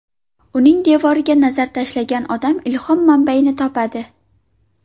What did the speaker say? Uning devoriga nazar tashlagan odam ilhom manbayini topadi”.